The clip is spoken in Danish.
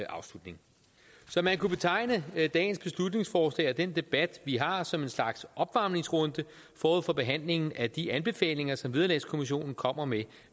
afslutning så man kunne betegne dagens beslutningsforslag og den debat vi har som en slags opvarmningsrunde forud for behandlingen af de anbefalinger som vederlagskommissionen kommer med